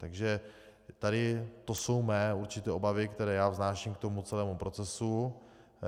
Takže tady to jsou mé určité obavy, které já vznáším k tomu celému procesu.